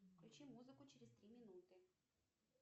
включи музыку через три минуты